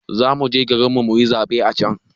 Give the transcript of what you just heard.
Zamuje garin mu muyi zaɓe a can